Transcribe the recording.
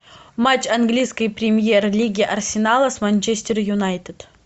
матч английской премьер лиги арсенала с манчестер юнайтед